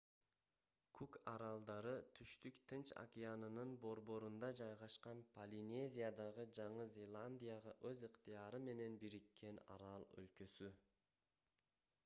кук аралдары түштүк тынч океанынын борборунда жайгашкан полинезиядагы жаңы зеландияга өз ыктыяры менен бириккен арал өлкөсү